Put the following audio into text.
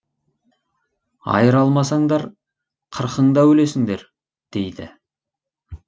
айыра алмасаңдар қырқың да өлесіңдер дейді